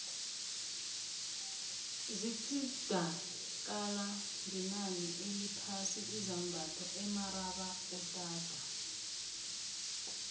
zithda kala ngenani eliphasi izambatho emarabaotadi